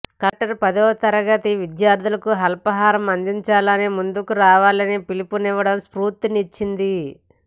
collector పదోతరగతి విద్యార్థులకు అల్పాహారం అందించడానికి ముందుకు రావాలని పిలుపునివ్వడం స్ఫూర్తినిచ్చింది